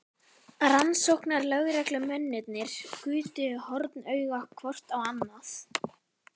Rannsóknarlögreglumennirnir gutu hornauga hvort á annað.